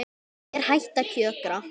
Hún er hætt að kjökra.